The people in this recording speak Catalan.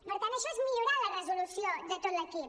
per tant això és millorar la resolució de tot l’equip